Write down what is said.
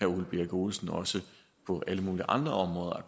ole birk olesen også på alle mulige andre områder